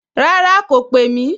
Rárá, kò pè mí